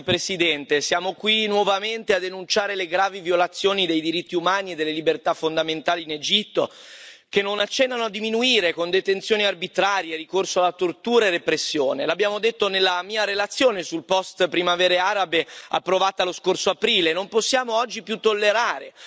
Signor Presidente, onorevoli colleghi, siamo qui nuovamente a denunciare le gravi violazioni dei diritti umani e delle libertà fondamentali in Egitto, che non accennano a diminuire con detenzioni arbitrarie, ricorso alla tortura e repressione. L'abbiamo detto nella mia relazione sul post primavere arabe approvata lo scorso aprile.